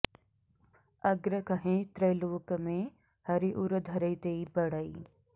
अग्र कहैं त्रैलोक में हरि उर धरैं तेई बड़ए